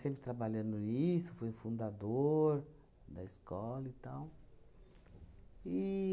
trabalhando nisso, fui fundador da escola e tal.